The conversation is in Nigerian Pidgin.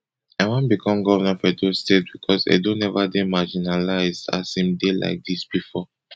i wan become govnor of edo state becos edo never dey marginalised as im dey like dis bifor